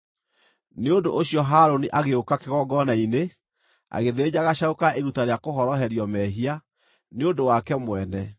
Nĩ ũndũ ũcio Harũni agĩũka kĩgongona-inĩ, agĩthĩnja gacaũ ka iruta rĩa kũhoroherio mehia, nĩ ũndũ wake mwene.